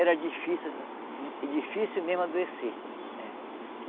Era difícil di difícil mesmo adoecer, é.